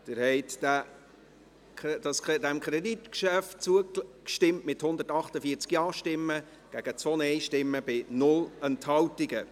Sie haben diesem Kreditgeschäft zugestimmt, mit 148 Ja- gegen 2 Nein-Stimmen bei 0 Enthaltungen.